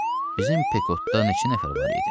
Bizim Pekotda neçə nəfər var idi?